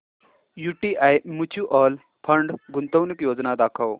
UTI mutual fund गुंतवणूक योजना दाखव